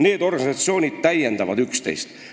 Need organisatsioonid täiendavad üksteist.